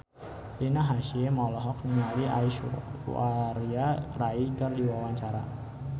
Rina Hasyim olohok ningali Aishwarya Rai keur diwawancara